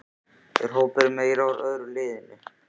Er hópurinn meira úr öðru liðinu?